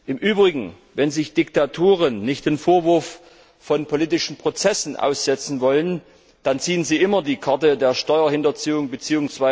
Im Übrigen Wenn sich Diktaturen nicht dem Vorwurf von politischen Prozessen aussetzen wollen, dann ziehen sie immer die Karte der Steuerhinterziehung bzw.